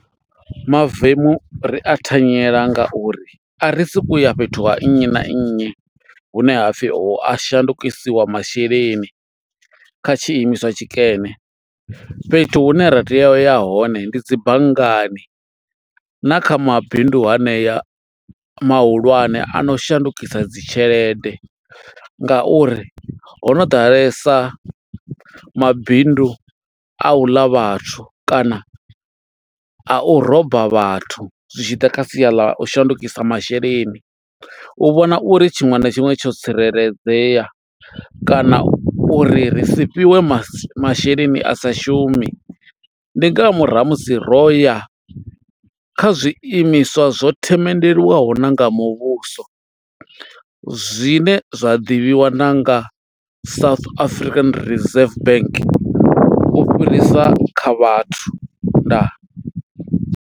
Mavemu ri a thanyela nga uri a ri suku ya fhethu ha nnyi na nnyi, hune ha pfi ho a shandukisiwa masheleni, kha tshi imiswa tshi kene. Fhethu hune ra tea u ya hone, ndi dzi banngani na kha mabindu haneya mahulwane ano shandukisa dzi tshelede. Nga uri ho no ḓalesa mabindu a u ḽa vhathu, kana a u roba vhathu, zwi tshi ḓa kha sia ḽa u shandukisa masheleni. U vhona uri tshiṅwe na tshiṅwe tsho tsireledzea, kana uri ri si fhiwe ma masheleni a sa shumi. Ndi nga murahu ha musi ro ya, kha zwiimiswa zwo themendelwaho nanga muvhuso. Zwine zwa ḓivhiwa na nga South African Reserve Bank u fhirisa kha vhathu. Ndaa.